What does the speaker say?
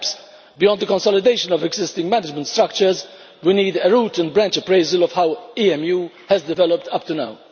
Perhaps, beyond the consolidation of existing management structures, we need a root and branch appraisal of how EMU has developed up to now.